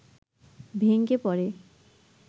ভেঙে পড়ে